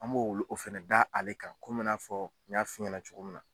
An m'o o fɛnɛ da ale kan komi i n'a fɔ n y'a f'i ɲɛna cogo min na.